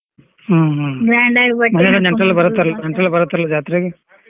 ಹ್ಮ್ ಹ್ಮ್ ಮನೆಗೆ ನೆಂಟ್ರೆಲ್ಲ ಬರ್ತರಲ್ಲ ನೆಂಟ್ರೆಲ್ಲ ಬರ್ತರಲ್ಲ ಜಾತ್ರೆಗೆ.